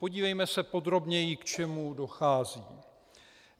Podívejme se podrobněji, k čemu dochází.